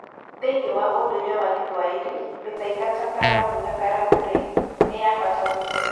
Thĩinĩ wa ũndũire wa Gĩthwaĩri, mĩthaiga ta karamu na karamu-rĩ, nĩ ya bata mũno.